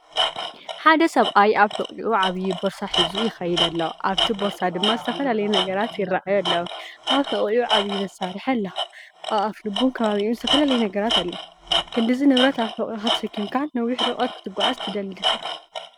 ሓደ ሰብኣይ ኣብ ሕቖኡ ዓቢ ቦርሳ ሒዙ ይኸይድ ኣሎ፡ ኣብቲ ቦርሳ ድማ ዝተፈላለዩ ነገራት ይረኣዩ ኣለዉ። ኣብ ሕቖኡ ዓቢይ መሳርሒ ኣሎ። ኣብ ኣፍልቡን ከባቢኡን ዝተፈላለየ ነገራት ኣሎ። ክንድዚ ንብረት ኣብ ሕቖኻ ተሰኪምካ ነዊሕ ርሕቀት ክትጓዓዝ ትኽእል ዲኻ?